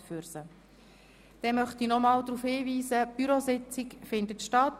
Heute um 16.10 Uhr findet im Zimmer C401 die Bürositzung statt.